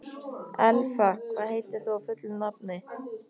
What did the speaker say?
Elfa, hvað heitir þú fullu nafni?